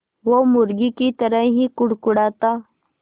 वो मुर्गी की तरह ही कुड़कुड़ाता